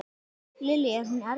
Lillý: Er hún erfið?